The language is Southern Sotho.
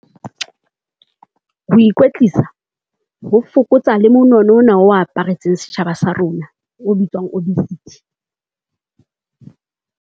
Ho ikwetlisa ho fokotsa le monono ona o aparetseng setjhaba sa rona o bitswang obesity.